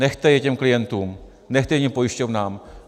Nechte je těm klientům, nechte je těm pojišťovnám.